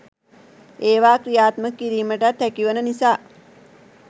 ඒවා ක්‍රියාත්මක කිරීමටත් හැකි වන නිසා